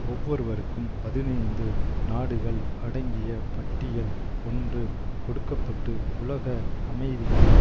ஒவ்வொருவருக்கும் பதினைந்து நாடுகள் அடங்கிய பட்டியல் ஒன்று கொடுக்க பட்டு உலக அமைதிக்கு